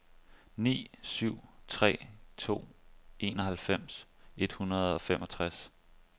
ni syv tre to enoghalvfems et hundrede og femogtres